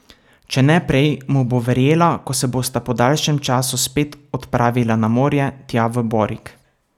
Če ne prej, mu bo verjela, ko se bosta po daljšem času spet odpravila na morje, tja v Borik.